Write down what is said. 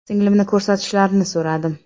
Singlimni ko‘rsatishlarini so‘radim.